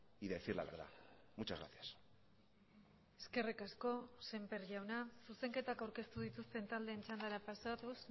y decir la verdad muchas gracias eskerrik asko semper jauna zuzenketak aurkeztu dituzten taldeen txandara pasatuz